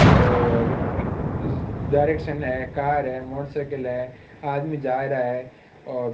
और डायरेक्शन है कार है मोटरसाइकिल है आदमी जा रहा है और --